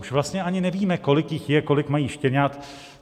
Už vlastně ani nevíme, kolik jich je, kolik mají štěňat.